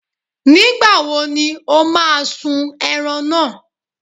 Nígbàwo ni o má a sun ẹran náà?